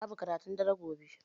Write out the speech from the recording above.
Babu karatun dare gobe